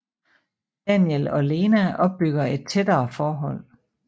Daniel og Lena opbygger et tættere forhold